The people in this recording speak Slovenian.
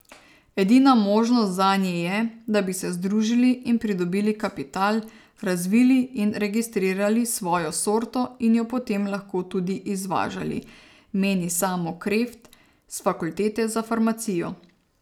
Edina možnost zanje je, da bi se združili in pridobili kapital, razvili in registrirali svojo sorto in jo potem lahko tudi izvažali, meni Samo Kreft s fakultete za farmacijo.